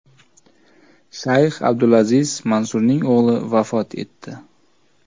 Shayx Abdulaziz Mansurning o‘g‘li vafot etdi.